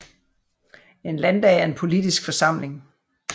En landdag er en politisk forsamling